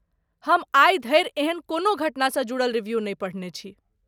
हम आइ धरि एहन कोनो घटनासँ जुड़ल रिव्यु नहि पढ़ने छी।